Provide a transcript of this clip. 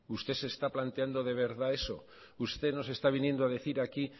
usted se está planteando de verdad eso usted nos está viniendo a decir aquí